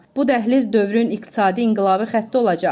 Bu dəhliz dövrün iqtisadi inqilabi xətti olacaq.